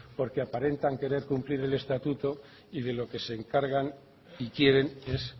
porque aparentan querer cumplir el estatuto y de lo que se encargan y quieren es